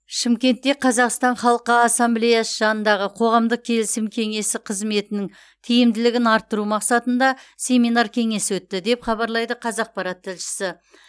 шымкентте қазақстан халқы ассамблеясы жанындағы қоғамдық келісім кеңесі қызметінің тиімділігін арттыру мақсатында семинар кеңес өтті деп хабарлайды қазақпарат тілшісі